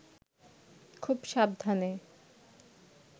খুব সাবধানে